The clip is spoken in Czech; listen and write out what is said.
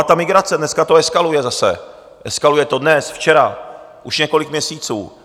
A ta migrace, dneska to eskaluje zase, eskaluje to dnes, včera, už několik měsíců.